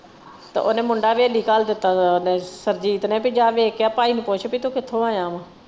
ਤੇ ਓਹਨੇ ਮੁੰਡਾ ਹਵੇਲੀ ਘੱਲ ਦਿੱਤਾ ਓਹਨੇ ਸਰਬਜੀਤ ਨੇ ਕਿ ਜਾ ਵੇਖ ਕੇ ਆ ਭਾਈ ਨੂੰ ਪੁੱਛ ਕਿ ਤੂੰ ਕਿਥੋਂ ਆਇਆ ਵਾ।